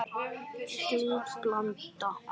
Slík blanda er afleit.